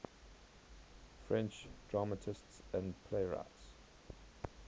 french dramatists and playwrights